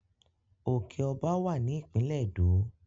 Òke Ọba wá ní ìpínlè ẹdọ